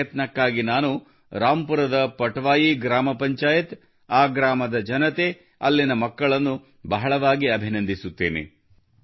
ಈ ಪ್ರಯತ್ನಕ್ಕಾಗಿ ನಾನು ರಾಂಪುರದ ಪಟ್ವಾಯಿ ಗ್ರಾಮ ಪಂಚಾಯತ್ ಆ ಗ್ರಾಮದ ಜನತೆ ಅಲ್ಲಿನ ಮಕ್ಕಳನ್ನು ಬಹಳ ಅಭಿನಂದಿಸುತ್ತೇನೆ